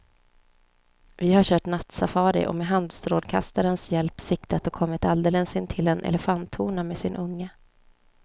Vi har kört nattsafari och med handstrålkastarens hjälp siktat och kommit alldeles intill en elefanthona med sin unge.